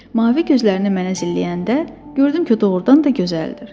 Mavi gözlərini mənə zilləyəndə gördüm ki, doğrudan da gözəldir.